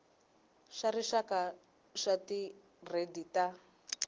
xa rixaka xa tigiredi ta